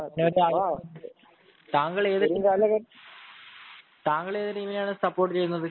ആഹ് താങ്കൾ താങ്കൾ ഏതു ടീമിനെയാണ് സപ്പോർട്ട് ചെയ്യുന്നത്